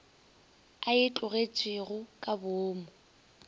a e tlogetšego ka boomo